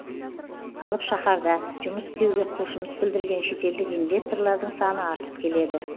алып шаһарда жұмыс істеуге құлшыныс білдірген шетелдік инвесторлардың саны артып келеді